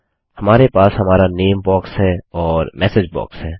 हमारे पास हमारा नामे बॉक्स है और मेसेज बॉक्स है